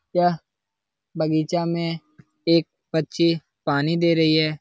यह बगीचा में एक बच्ची पानी दे रही है।